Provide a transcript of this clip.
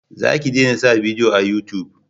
Za ka dena sa bidiyo a yutub